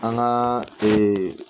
An ka